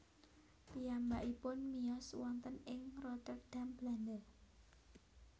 Piyambakipun miyos wonten ing Rotterdam Belanda